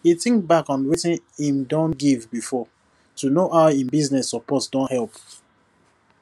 he think back on wetin him don give before to know how him business support don help